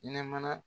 Nɛmana